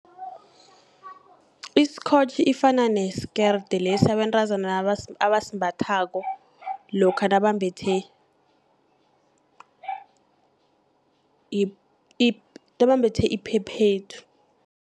Iskotjhi efana nesikerde, lesi abentazana abasimbathako lokha nabambethe iphephethu.